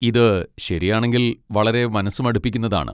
ഇത് ശരിയാണെങ്കിൽ വളരെ മനസ്സുമടുപ്പിക്കുന്നതാണ്.